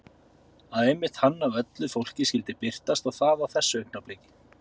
Að einmitt hann af öllu fólki skyldi birtast og það á þessu augnabliki.